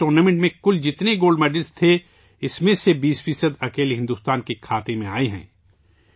اس tournament میں کل جتنے گولڈ میڈلس تھے ، اس میں سے 20 فیصداکیلے بھارت کے کھاتے میں آئے ہیں